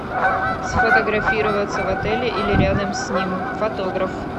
сфотографироваться в отеле или рядом с ним фотограф